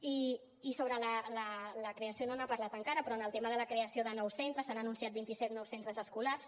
i sobre la creació no n’ha parlat encara però en el tema de la creació de nous centres s’han anunciat vint i set nous centres escolars